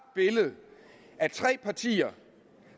billede af tre partier